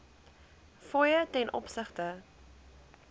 fooie ten opsigte